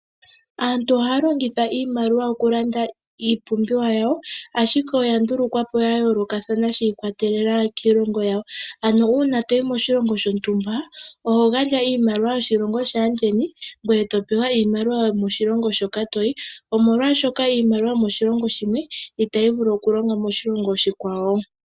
Aantu ohaya longitha iimaliwa okulanda iipumbiwa yawo, ashike oya ndulukwa po yayoolokathana shi ikwatelela kiilongo yasho. Uuna toyi moshilongo shontumba oho gandja iimaliwa yoshilongo shaandjeni eto pewa iimaliwa yokoshilongo shoka toyi omolwaashoka iimaliwa yomoshilongo shimwe itayi vulu okulonga moshilongo oshikwa wo.